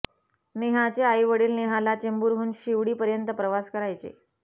नेहाचे आई वडील नेहाला चेंबुरहून शिवडी पर्यंत्त प्रवास करायचे